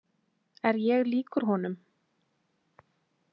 Er ég líkur honum?